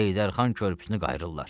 Heydər xan körpüsünü qayırırlar.